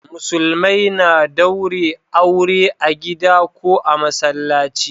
Musulmai na daure aure a gida ko a masallaci